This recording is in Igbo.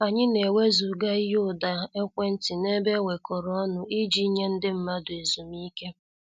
Anyị na-ewezuga ihe ụda ekwentị n'ebe enwekoro ọnụ iji nye ndị mmadụ ezumike.